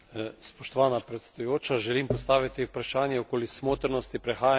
Želim postaviti vprašanje okoli smotrnosti prehajanja na poletni čas.